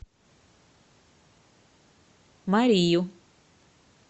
марию